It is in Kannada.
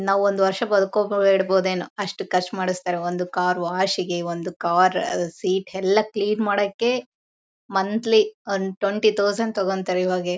ನಾವು ಒಂದು ವರ್ಷ ಬದುಕೋಕು ಇಡಬಹುದೇನೋ ಅಷ್ಟು ಖರ್ಚು ಮಾಡಿಸ್ತಾರೆ ಒಂದು ಕಾರು ವಾಶ್ ಗೆ. ಒಂದು ಕಾರು ಸೀಟ್ ಎಲ್ಲ ಕ್ಲೀನ್ ಮಾಡಕೆ ಮಂಥ್ಲಿ ಒಂದು ಟ್ವೆಂಟಿ ಟೌಸನ್ಡ್ ತಗೋತಾರೆ ಇವಾಗ.